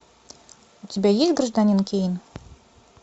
у тебя есть гражданин кейн